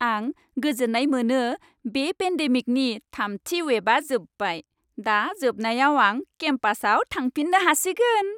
आं गोजोन्नाय मोनो बे पेन्डेमिकनि थामथि वेबआ जोबबाय। दा जोबनायाव आं केम्पासाव थांफिननो हासिगोन।